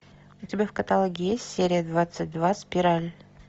у тебя в каталоге есть серия двадцать два спираль